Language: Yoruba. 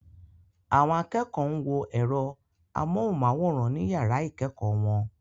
Àwọn akẹ́kọ̀ọ́ ń wo ẹ̀rọ amóhùnmáwòrán ní yàrá ìkẹ́kọ̀ọ́ wọn.